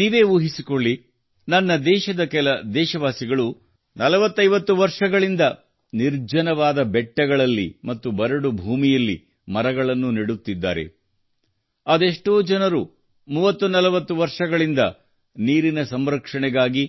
ನೀವು ಊಹಿಸಿಕೊಳ್ಳಿ ನನ್ನ ದೇಶದ ಕೆಲ ದೇಶವಾಸಿಗಳು 4040 ವರ್ಷಗಳಿಂದ ನಿರ್ಜನವಾದ ಬೆಟ್ಟಗಳಲ್ಲಿ ಮತ್ತು ಬರಡು ಭೂಮಿಯಲ್ಲಿ ಮರಗಳನ್ನು ನೆಡುತ್ತಿದ್ದಾರೆ ಅದೆಷ್ಟೋ ಜನರು 3030 ವರ್ಷಗಳಿಂದ ನೀರಿನ ಸಂರಕ್ಷಣೆಗಾಗಿ